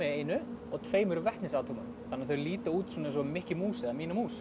einu og tveimur vetnisatómum þannig að þau líta út eins og Mikki mús eða mína mús